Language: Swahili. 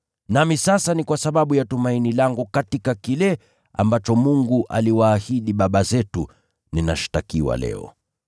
Nami sasa ni kwa sababu ya tumaini langu katika kile ambacho Mungu aliwaahidi baba zetu, ninashtakiwa leo.